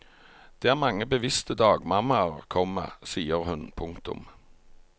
Det er mange bevisste dagmammaer, komma sier hun. punktum